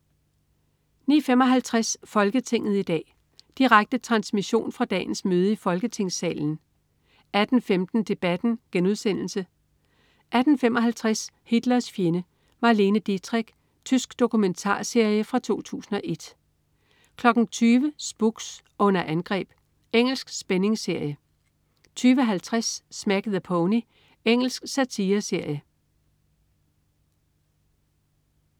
09.55 Folketinget i dag. Direkte transmission fra dagens møde i Folketingssalen 18.15 Debatten* 18.55 Hitlers fjende. Marlene Dietrich. Tysk dokumentarserie fra 2001 20.00 Spooks: Under angreb. Engelsk spændingsserie 20.50 Smack the Pony. Engelsk satireserie